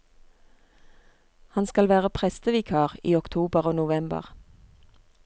Han skal være prestevikar i oktober og november.